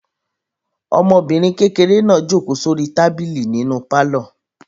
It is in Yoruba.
Ọmọbìnrin kékeré náà jókòó sórí tábìlì nínú pálọ̀.